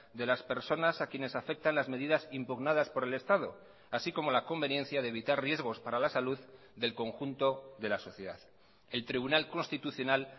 de las personas a quienes afectan las medidas impugnadas por el estado así como la conveniencia de evitar riesgos para la salud del conjunto de la sociedad el tribunal constitucional